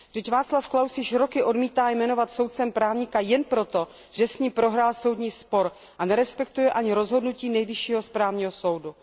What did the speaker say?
Vždyť Václav Klaus již roky odmítá jmenovat soudcem právníka jen proto, že s ním prohrál soudní spor, a nerespektuje ani rozhodnutí Nejvyššího správního soudu.